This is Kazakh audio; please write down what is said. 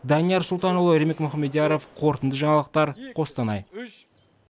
данияр сұлтанұлы ермек мұхамедияров қорытынды жаңалықтар қостанай